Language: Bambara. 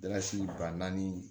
Dalasi ba naani